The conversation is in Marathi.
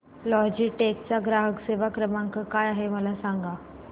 लॉजीटेक चा ग्राहक सेवा क्रमांक काय आहे मला सांगा